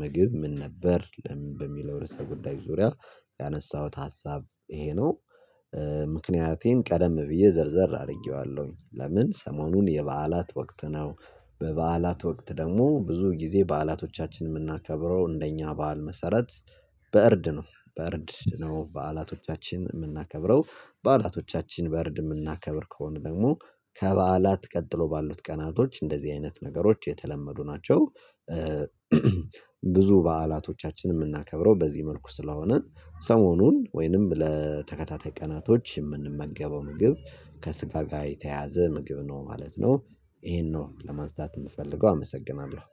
ምግብ ምን ነበር ለሚ በሚለው ርዕሰ ጉዳይ ዙሪያ ያነሳሁት ሀሳብ ይሄ ነው። ምክንያቴን ቀደም ብዬ ዘርዘር አደርጌዋለሁኝ ለምን ሰሞኑን የበዓላት ወቅት ነው። በበዓላት ወቅት ደግሞ ብዙ ጊዜ በዓላቶቻችንን የምናከብረው እንደኛ በዓል መሰረት በእርድ ነው። በእርድ ነው በዓላቶቻችንን የምናከብረው በዓላቶቻችን በእርድ የምናከብር ከሆነ ደግሞ ከበዓላት ቀጥሎ ባሉት ቀናቶች እንደዚህ አይነት ነገሮች የተለመዱ ናቸው። ብዙ በዓላቶቻችንን የምናከብረው በዚህ መልኩ ስለሆነ ሰሞኑን ወይንም ለተከታታይ ቀናቶች የምንመገበው ምግብ ከስጋ ጋር የተያዘ ምግብ ነው ማለት ነው። ይሄን ነው ለማንሳት የምፈልገው አመሰግናለሁ